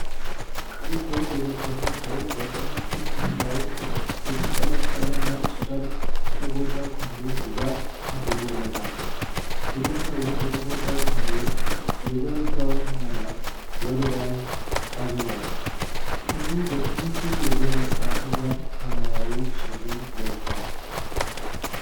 ቀይ ኮት የለበሰ ሰው በቀኝ ትከሻው የተንጠለጠለ ነጭ ጨርቅ ለተጎዳው ክንዱ ድጋፍ አድርጎለታል። ግለሰቡ በተጎዳው ክንዱ የዘረጋውን መዳፍ ወደ ላይ አዙሯል። ክንዱ በትንሹ የገረጣ ሲሆን፣ ሰማያዊ ሱሪ ለብሷል።